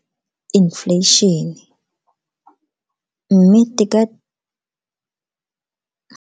Infleišene, mme teka.